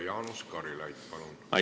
Jaanus Karilaid, palun!